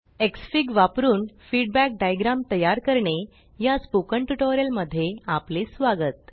Xfig वापरून feedback diagram तयार करणे या स्पोकन ट्यूटोरियल मध्ये आपले स्वागत